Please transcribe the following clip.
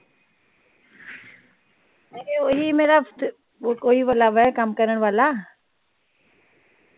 ਨਹੀਂ ਓਹੀ ਮੇਰਾ ਕੋਈ ਵਾਲਾ ਵੇ ਕੰਮ ਕਰਨ ਵਾਲਾ।